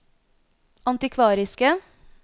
antikvariske